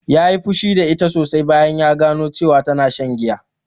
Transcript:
Ya yi fushi da ita sosai bayan gano cewa tana shan giya